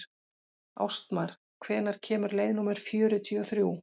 Ástmar, hvenær kemur leið númer fjörutíu og þrjú?